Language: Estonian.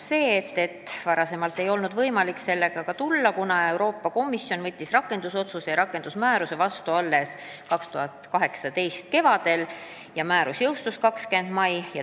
Meile selgitati, et varem ei olnud võimalik sellega välja tulla, kuna Euroopa Komisjon võttis rakendusotsuse ja rakendusmääruse vastu alles 2018. aasta kevadel ja määrus jõustus 20. mail.